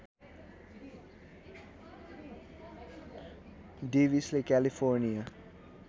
डेविसले California